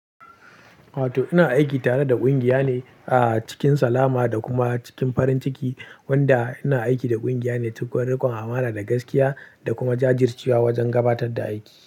Ato ina aiki tareda kungiya ne a cikin salama da kuma cikin farin ciki, wanda ina aiki da kungiya ne cikin rikon amana da gaskiya da kuma jajircewa wajen gabatarda aiki.